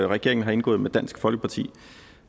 regeringen har indgået med dansk folkeparti